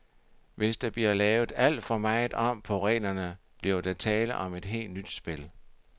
Hvis der bliver lavet alt for meget om på reglerne, bliver der tale om et helt nyt spil.